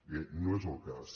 bé no és el cas